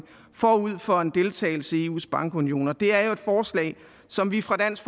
forud for en deltagelse i eus bankunion og det er jo et forslag som vi fra dansk